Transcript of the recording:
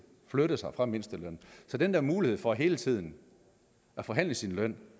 flyttet sig fra mindstelønnen den der mulighed for hele tiden at forhandle sin løn